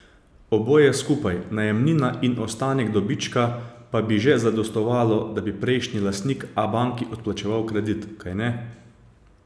Oboje skupaj, najemnina in ostanek dobička, pa bi že zadostovalo, da bi prejšnji lastnik Abanki odplačeval kredit, kajne?